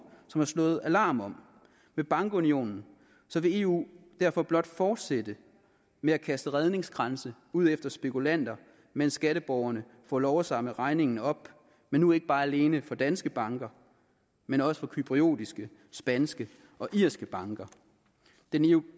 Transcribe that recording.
som har slået alarm med bankunionen vil eu derfor blot fortsætte med at kaste redningskranse ud efter spekulanter mens skatteborgerne får lov at samle regningen op men nu ikke bare alene for danske banker men også for cypriotiske spanske og irske banker den